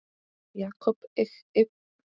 Jakob yppti öxlum.